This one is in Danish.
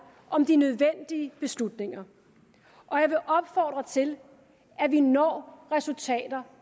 om de nødvendige beslutninger og jeg vil opfordre til at vi når resultater